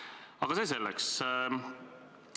Aga see selleks.